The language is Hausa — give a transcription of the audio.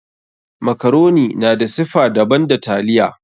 Makaroni na da siffa daban da taliya.